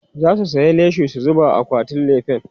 zasu saya leshi su zuba a akwatin lefen